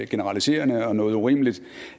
generaliserende og noget urimeligt